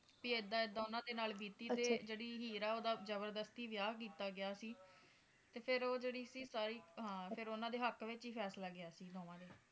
ਤੇ ਇੱਦਾਂ ਇੱਦਾਂ ਓਹਨਾ ਦੇ ਨਾਲ ਬੀਤੀ ਤੇ ਜਿਹੜੀ ਹਰ ਆ ਓਹਦਾ ਜਬਰਦਸਤੀ ਵਿਆਹ ਕੀਤਾ ਗਿਆ ਸੀ ਫੇਰ ਉਹ ਜਿਹੜੀ ਸੀ ਸਾਰੀ ਹਾਂ ਓਹਨਾ ਦੇ ਹੱਕ ਵਿਚ ਹੀ ਫੈਸਲਾ ਗਿਆ ਸੀ